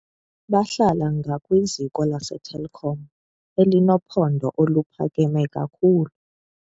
Bahlala ngakwiziko laseTelkom elinophondo oluphakame kakhulu.